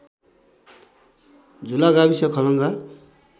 झुला गाविस खलङ्गा